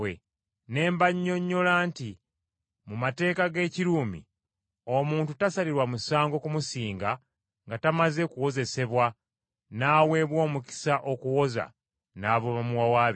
“Ne mbannyonnyola nti mu mateeka g’Ekiruumi, omuntu tasalirwa musango kumusinga nga tamaze kuwozesebwa n’aweebwa omukisa okuwoza n’abamuwawaabira.